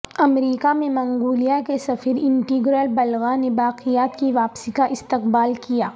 امریکہ میں منگولیا کے سفیر انٹینگرال بلگا نے باقیات کی واپسی کا استقبال کیا